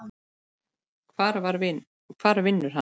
Hvar vinnur hann?